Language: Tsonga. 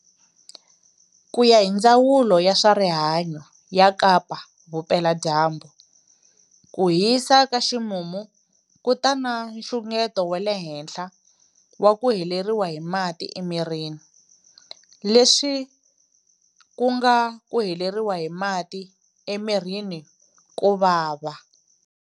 Ku ya hi Ndzawulo ya swa Rihanyu ya Kapa Vupela-Dyambu, ku hisa ka ximumu ku ta na nxungeto wa le henhla wa ku heleriwa hi mati emirini, leswi ku nga ku heleriwa hi mati emirini ko vava.